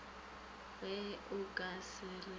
ge o ka se re